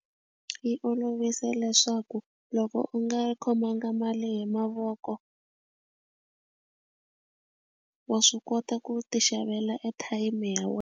Yi olovise leswaku loko u nga khomanga mali hi mavoko wa swi kota ku ti xavela airtime ya wena.